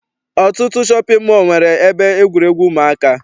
Ọtụtụ shọpị mọọ nwere ebe egwuregwu ụmụaka.